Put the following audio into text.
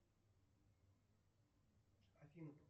афина